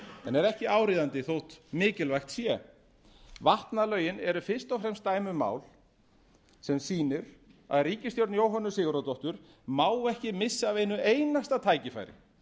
en er ekki áríðandi þótt mikilvægt sé vatnalögin eru fyrst og fremst dæmi um mál semsýnir að ríkisstjórn jóhönnu sigurðardóttur má ekki missa af einu einasta tækifæri